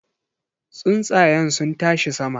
Tsuntsayen sun tashi sama.